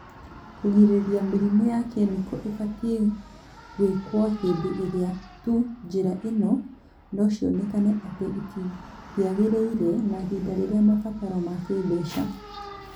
Kwĩgirĩrĩria mĩrimũ ya kĩmĩko ibatie gwĩkwo hĩndĩ ĩrĩa tu njĩra ingĩ nocionekana atĩ itiagirĩire na ihinda rĩa mabataro ma kĩĩmbeca